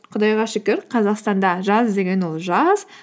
құдайға шүкір қазақстанда жаз деген ол жаз